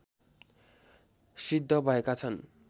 सिद्ध भएका छन्।